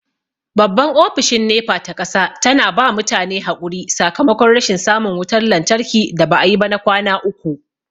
Babban Ofishin NEPA ta ƙasa tana ba mutane haƙuri sakomakon rashin samun wutar lantarki da ba'a yi ba na kwana uku.